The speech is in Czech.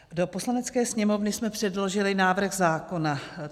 Do Poslanecké sněmovny jsme předložili návrh zákona.